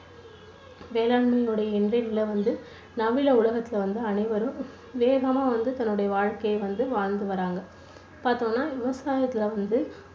வேளாண்மையோட இன்றைய நிலை வந்து நவீன உலகத்துல வந்து அனைவரும் வேகமா வந்து தன்னுடைய வாழ்க்கையை வந்து வாழ்ந்து வராங்க. பார்த்தோம்னா விவசாயத்துல வந்து